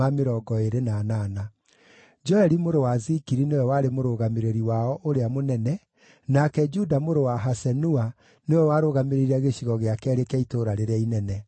Joeli mũrũ wa Zikiri nĩwe warĩ mũrũgamĩrĩri wao ũrĩa mũnene, nake Juda mũrũ wa Hasenua nĩwe warũgamĩrĩire Gĩcigo gĩa Keerĩ kĩa itũũra rĩrĩa inene.